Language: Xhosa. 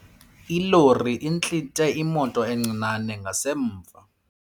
Ilori intlithe imoto encinane ngasemva.